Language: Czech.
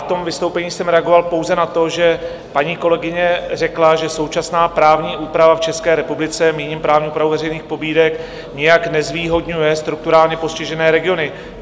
V tom vystoupení jsem reagoval pouze na to, že paní kolegyně řekla, že současná právní úprava v České republice, míním právní úpravu veřejných pobídek, nijak nezvýhodňuje strukturálně postižené regiony.